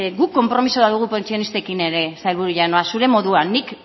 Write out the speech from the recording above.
guk konpromiso bat dugu pentsionistekin ere sailburu jauna zure moduan nik